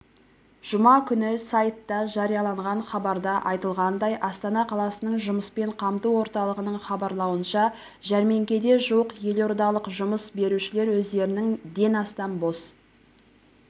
жұма күні сайтта жарияланған хабарда айтылғандай астана қаласының жұмыспен қамту орталығының хабарлауынша жәрмеңкеде жуық елордалық жұмыс берушілер өздерінің ден астам бос